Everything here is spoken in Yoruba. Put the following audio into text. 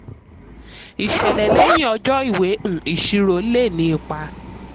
ìṣẹ̀lẹ̀ lẹ́yìn ọjọ́ ìwé um ìṣirò lè ní ipa.